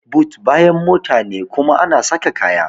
But bayan mota ne kuma ana saka kaya.